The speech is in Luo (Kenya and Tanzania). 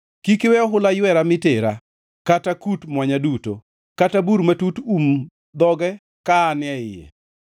Kik iwe ohula ywera mi tera kata kut mwonya duto, kata bur matut um dhoge ka an e iye.